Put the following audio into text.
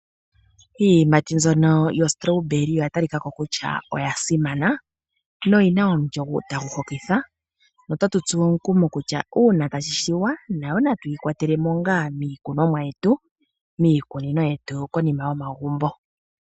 Iiyimati mbyono yo strawberry oya talikako kutya oya simana noyina omulyo tagu hokitha. Otatu tsuwa omukumo kutya uuna tashi shiwa nayo natuyi kwatelemo ngaa miikunonwa yetu miikunino yetu konima yomagumbo.